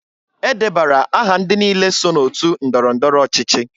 E debara aha ndị niile so n'otu ndọrọ ndọrọ ọchịchị.